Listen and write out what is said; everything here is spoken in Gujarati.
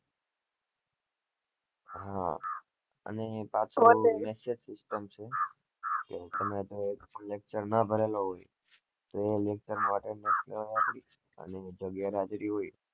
હા અને પાછુ message system છે કે તમે એક lecture ના ભરેલો હોય તો એ lecture માટે અને જો ગરેહાજરી હોય